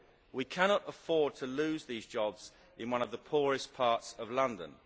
We cannot afford to lose these jobs in one of the poorest parts of London.